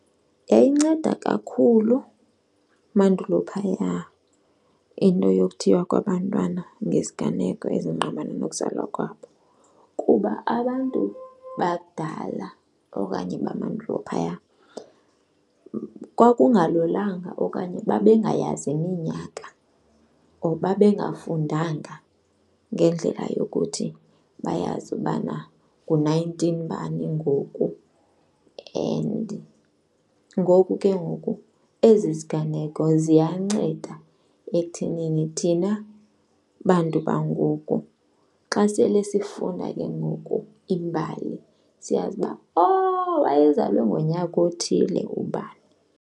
Yayinceda kakhulu mandulo phaya into yokuthiywa kwabantwana ngeziganeko ezingqamana nokuzalwa kwabo kuba abantu bakudala okanye bamandulo phaya kwakungalulanga okanye babengayazi iminyaka or babengafundanga ngendlela yokuthi bayazi ubana ngo-nineteen bani ngoku. And ngoku ke ngoku ezi ziganeko ziyanceda ekuthinini thina bantu bangoku, xa sele sifunda ke ngoku imbali siyazi uba, oh, wayezalwe ngonyaka othile ubani.